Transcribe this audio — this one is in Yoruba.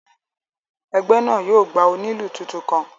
Ẹgbẹ náà yóò gba onílù tuntun kàn